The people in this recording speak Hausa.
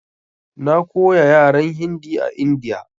Na koya yaran Hindi a India.